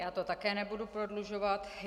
Já to také nebudu prodlužovat.